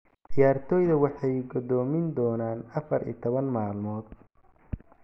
Ciyaartoyda waxay go'doomin doonaan 14 maalmood''.